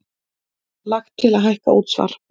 Lagt til að hækka útsvar